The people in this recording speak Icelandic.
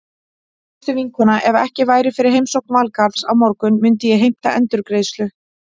Veistu vinkona, ef ekki væri fyrir heimsókn Valgarðs á morgun myndi ég heimta endurgreiðslu.